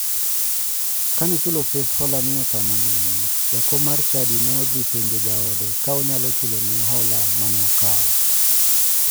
Kane chulo pes holani otamo miyoni, jakom mar chadi ne odhi penjo jaode ka onyalo chulone hola mane okawo.